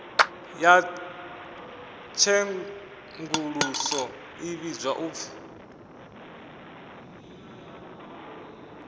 ya tshenguluso i vhidzwa upfi